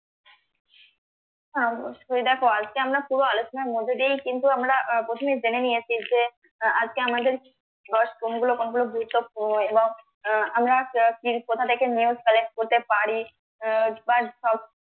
হ্যাঁ অবশ্যই দেখো আজকে আমরা পুরো আলোচনার মধ্যে দিয়েই কিন্তু আমরা আহ প্রথমে জেনে নিয়েছি যে আজকে আমাদের কোনগুলো গুরুত্বপূর্ণ এবং আহ আমরা কোথা থেকে news collect করতে পারি আহ বা